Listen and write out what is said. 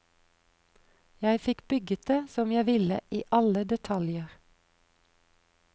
Jeg fikk bygget det som jeg ville i alle detaljer.